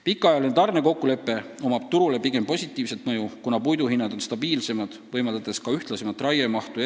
Pikaajalisel tarnekokkuleppel on turule pigem positiivne mõju, kuna puidu hinnad on stabiilsemad, võimaldades ka eraomanikele ühtlasemat raiemahtu.